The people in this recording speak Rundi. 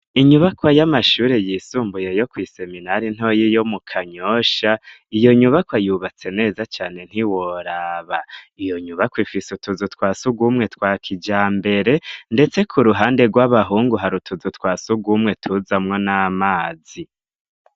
Inyubako y'amashure yisumbuye yo kw'iseminari ntoyi yo mu kanyosha , iyo nyubakwa yubatse neza cane ntiworaba, iyo nyubakwa ifise utuzu twa sugumwe twa kijambere ndetse ku ruhande rw'abahungu hari utuzu twa sugumwe tuzamwo n'amazi.